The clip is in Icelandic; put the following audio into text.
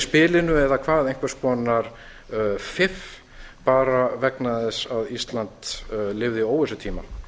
spilinu eða einhvers konar fiff bara vegna þess að ísland lifði óvissutíma